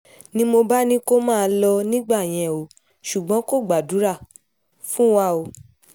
ni mo bá ní kó máa lọ nígbà yẹn o ṣùgbọ́n kò gbàdúrà fún wa o